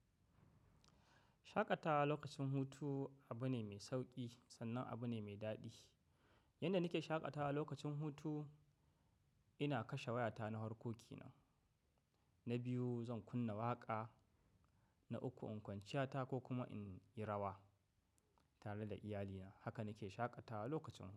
Shaƙatawa lokacin hutu abu ne mai sauki sannan abu ne mai daɗi. Yanda nake shaƙatawa lokacin hutu, ina kashe wayata na hwarko kenan. Na biyu zan kunna waƙa. Na uku in kwanciya ta ko kuma in yi rawa tare da iyalina. Haka nake shaƙatawa lokacin hutu.